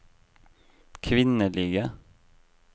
kvinnelige